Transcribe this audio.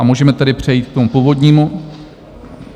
A můžeme tedy přejít k tomu původnímu...